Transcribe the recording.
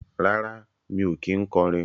Rárá, mi ò kí ń kọrin